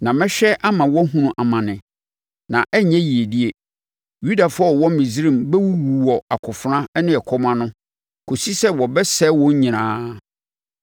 Na mɛhwɛ ama wɔahunu amane na ɛnyɛ yiedie; Yudafoɔ a wɔwɔ Misraim bɛwuwu wɔ akofena ne ɛkɔm ano kɔsi sɛ wɔbɛsɛe wɔn nyinaa.